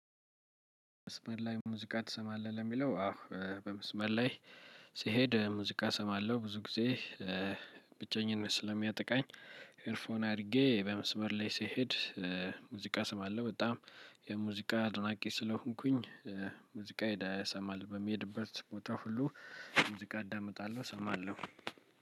መስመር ላይ ሙዚቃ ትሰማለህ? ለሚለው አዎ በመስመር ላይ ስሄድ ሙዚቃ እሰማለሁ። ብዙ ጊዜ ብቸኝነት ስለሚያጠቃኝ ኤርፎን አድርጌ በመስመር ላይ ስሄድ ሙዚቃ እሰማለሁ። በጣም የሙዚቃ አድናቂ ስለሆንኩኝ ሙዚቃየን እሰማለሁ። በምሄድበት ቦታ ሁሉ ሙዚቃ አዳምጣለሁ። እሰማለሁ።